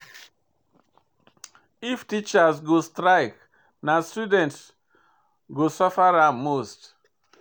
If teachers go strike, na student go suffer am most.